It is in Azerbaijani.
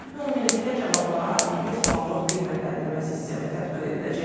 Ümumilikdə cavablara 100 ballıq qiymətləndirmə sistemi tətbiq ediləcək.